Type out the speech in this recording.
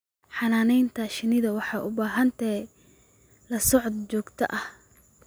Xannaanada shinnidu waxay u baahan tahay la socodka joogtada ah.